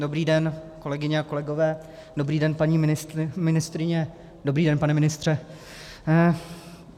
Dobrý den, kolegyně a kolegové, dobrý den, paní ministryně, dobrý den, pane ministře.